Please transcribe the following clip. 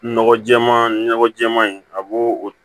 Nɔgɔ jɛɛma nɔgɔ jɛman in a b'o o